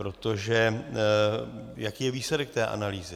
Protože jaký je výsledek té analýzy?